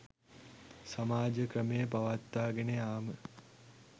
සමාජ ක්‍රමය පවත්වාගෙන යාම